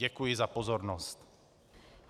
Děkuji za pozornost.